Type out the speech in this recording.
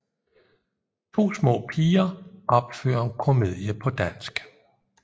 To små piger opfører en komedie på dansk